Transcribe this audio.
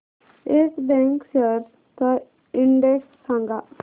yes bank shares चा index सांगा